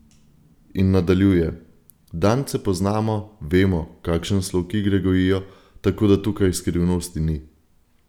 In nadaljuje: "Dance poznamo, vemo, kakšen slog igre gojijo, tako da tukaj skrivnosti ni.